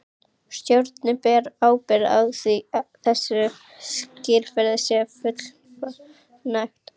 Stjórnin ber ábyrgð á því að þessu skilyrði sé fullnægt.